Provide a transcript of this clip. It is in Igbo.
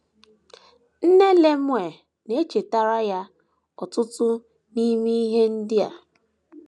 Nne Lemuel na - echetara ya ọtụtụ n’ime ihe ndị a.